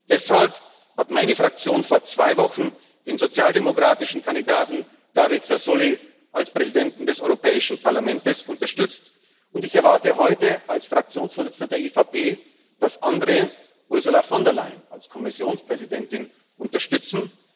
Deshalb hat meine Fraktion vor zwei Wochen den sozialdemokratischen Kandidaten David Sassoli als Präsidenten des Europäischen Parlaments unterstützt, und ich erwarte heute als Fraktionsvorsitzender der EVP, dass andere Ursula von der Leyen als Kommissionspräsidentin unterstützen.